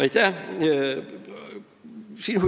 Aitäh!